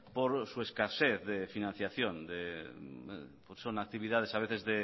por su escasez de financiación son actividades a veces